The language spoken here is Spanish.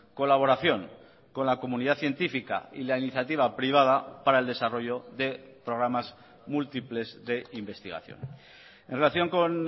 colaboración con la comunidad científica y la iniciativa privada para el desarrollo de programas múltiples de investigación en relación con